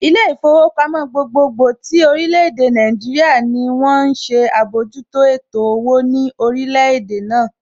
Ilé ìfowópamọ́ gbogbogbò tí orílè èdè Nàìjíríà ní wón ń ṣe àbójútó ètò owó ní orílẹ̀ èdè náà